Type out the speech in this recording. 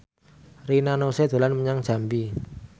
Rina Nose dolan menyang Jambi